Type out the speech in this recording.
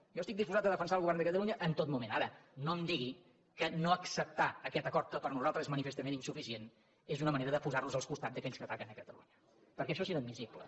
jo estic disposat a defensar el govern de catalunya en tot moment ara no em digui que no acceptar aquest acord que per nosaltres és manifestament insuficient és una manera de posar nos al costat d’aquells que ataquen catalunya perquè això és inadmissible